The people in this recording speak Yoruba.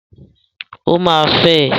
Ó máa fẹ́ ẹ.